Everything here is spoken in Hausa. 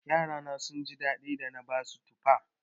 Yarana sun ji daɗi da na basu tufa.